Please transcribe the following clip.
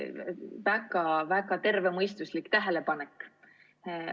Tõesti väga tervemõistuslik tähelepanek.